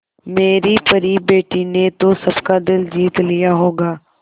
मेरी परी बेटी ने तो सबका दिल जीत लिया होगा